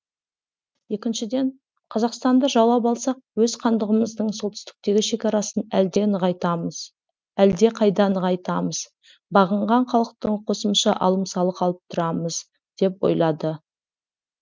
екіншіден қазақстанды жаулап алсақ өз хандығымыздың солтүстіктегі шекарасын әлдеқайда нығайтамыз бағынған халықтан қосымша алым салық алып тұрамыз деп ойлады